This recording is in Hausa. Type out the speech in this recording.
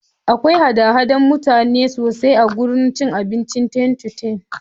Akwai hada-hadar mutane ne sosai a gudan abincin ten-to-ten